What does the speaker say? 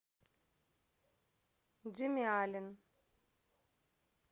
джимми аллен